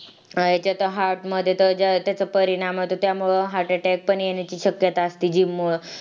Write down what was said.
अह याच्यात त heart मध्ये त ज्या त्याचा परिणाम होते त्यामुळ heart attack पण येण्याची शक्यता असती gym मूळ